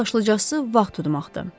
Ən başlıcası, vaxt udmaqdır.